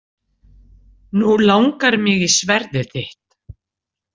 Nú langar mig í sverðið þitt.